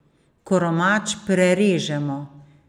Koromač prerežemo.